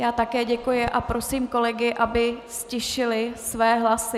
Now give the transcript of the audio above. Já také děkuji a prosím kolegy, aby ztišili své hlasy.